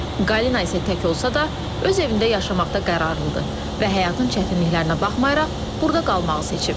Qalina isə tək olsa da, öz evində yaşamaqda qərarlıdır və həyatın çətinliklərinə baxmayaraq, burda qalmağı seçib.